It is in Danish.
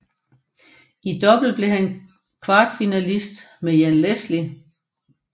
I double var han kvartfinalist med Jan Leschly